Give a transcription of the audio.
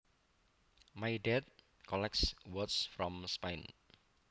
My dad collects swords from Spain